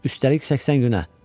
Üstəlik səksən günə.